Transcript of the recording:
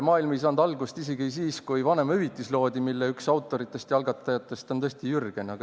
Maailm ei saanud algust isegi siis, kui loodi vanemahüvitis, mille üks autoritest ja algatajatest on tõesti Jürgen.